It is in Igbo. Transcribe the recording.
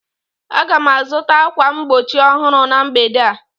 Aga m azụta ákwà mgbochi ọhụrụ na mgbede a